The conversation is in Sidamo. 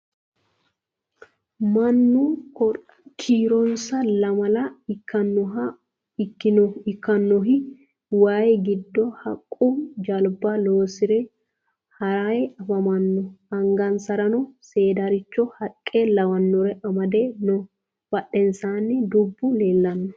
Mannu kiironsa lamala ikkannohi wayii giddo haqqu jalba loosire harayi afamanno. Angansarano seedaricho haqqa lawannore amade no. Badheensaanni dubbu leellano.